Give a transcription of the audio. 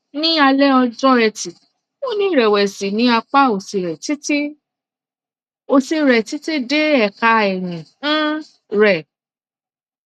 ní alẹ ọjọ eti ó ní ìrẹwẹsì ní apá òsì rẹ títí òsì rẹ títí dé ẹka ẹyìn um rẹ